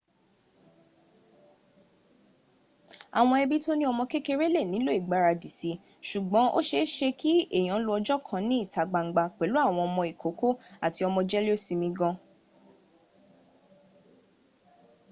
awon ebi to ni omo kekere le nilo igbaradi si sugbon o seese ki eyan lo ojo kan ni ita gbangba pelu awon omo ikoko ati omo jelesimi gaan